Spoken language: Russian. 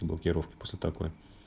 блокировки после такой